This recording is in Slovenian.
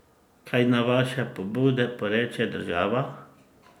Kaj na vaše pobude poreče država?